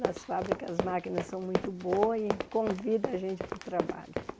Nas fábricas as máquinas são muito boas e convida a gente para o trabalho.